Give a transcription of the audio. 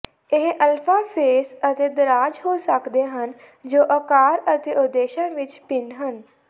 ਇਹ ਅਲਫ਼ਾਫੇਸ ਅਤੇ ਦਰਾਜ਼ ਹੋ ਸਕਦੇ ਹਨ ਜੋ ਆਕਾਰ ਅਤੇ ਉਦੇਸ਼ਾਂ ਵਿੱਚ ਭਿੰਨ ਹਨ